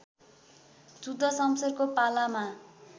जुद्ध सम्शेरको पालामा